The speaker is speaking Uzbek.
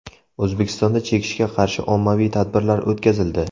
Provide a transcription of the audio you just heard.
O‘zbekistonda chekishga qarshi ommaviy tadbirlar o‘tkazildi.